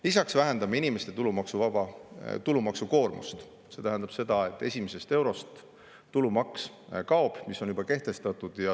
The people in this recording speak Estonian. Lisaks vähendame inimeste tulumaksukoormust, see tähendab, et kaob tulumaks esimesest eurost, mis on juba kehtestatud.